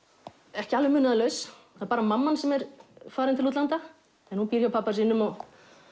ekki alveg munaðarlaus það er bara mamman sem er farin til útlanda en hún býr hjá pabba sínum og